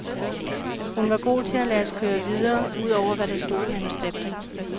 Hun var god til at lade os køre videre ud over, hvad der stod i manuskriptet.